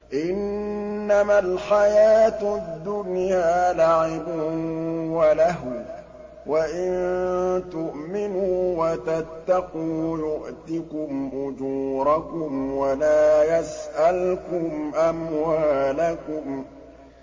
إِنَّمَا الْحَيَاةُ الدُّنْيَا لَعِبٌ وَلَهْوٌ ۚ وَإِن تُؤْمِنُوا وَتَتَّقُوا يُؤْتِكُمْ أُجُورَكُمْ وَلَا يَسْأَلْكُمْ أَمْوَالَكُمْ